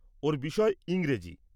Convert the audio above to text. ওর বিষয় ইংরেজি।